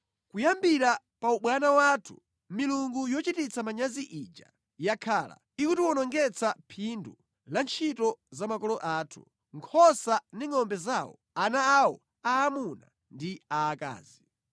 Kuyambira pa ubwana wathu milungu yochititsa manyazi ija yakhala ikutiwonongetsa phindu la ntchito za makolo athu, nkhosa ndi ngʼombe zawo, ana awo aamuna ndi aakazi.